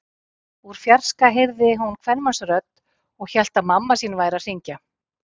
Úr fjarska heyrði hún kvenmannsrödd og hélt að mamma sín væri að hringja.